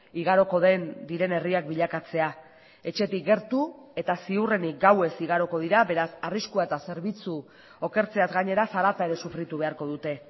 igaroko den diren herriak bilakatzea etxetik gertu eta ziurrenik gauez igaroko dira beraz arriskua eta zerbitzu okertzeaz gainera zarata ere sufritu beharko dute